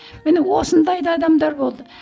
міне осындай да адамдар болды